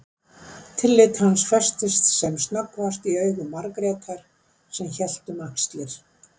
Tillit hans festist sem snöggvast í augum Margrétar sem hélt um axlir